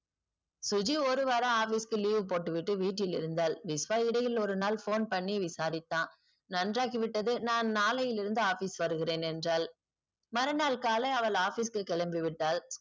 சுஜி ஒருவாரம் office க்கு leave போட்டுவிட்டு வீட்டில் இருந்தால் விஸ்வா இடையில் ஒருநாள் phone பண்ணி விசாரித்தான் நன்றாகிவிட்டது நான் நாளையிலிருந்து office வருகிறேன் என்றால் மறுநாள் காலை அவள் office க்கு கெளம்பிவிட்டால்